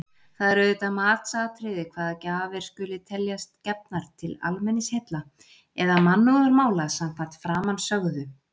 Það er auðvitað matsatriði hvaða gjafir skuli teljast gefnar til almenningsheilla eða mannúðarmála samkvæmt framansögðu.